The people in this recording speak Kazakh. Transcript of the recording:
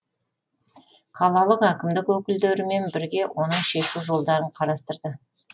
қалалық әкімдік өкілдерімен бірге оның шешу жолдарын қарастырды